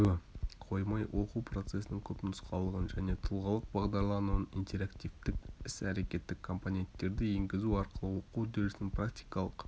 қоймай оқу процесінің көпнұсқалылығын және тұлғалық бағдарлануын интерактивтік іс-әрекеттік компоненттерді енгізу арқылы оқу үдерісінің практикалық